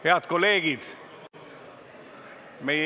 Head kolleegid!